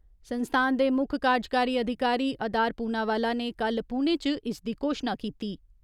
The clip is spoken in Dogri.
संस्थान दे मुक्ख कारजकारी अधिकारी अदार पूनावाला ने कल्ल पुणे च इसदी घोशना कीती।